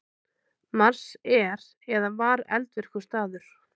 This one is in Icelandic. Mars er eða var eldvirkur staður.